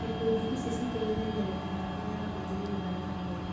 Ikundi ici citeithagia mĩbango ya ũthii wa na mbere.